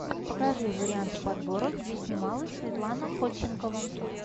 покажи варианты подборок где снималась светлана ходченкова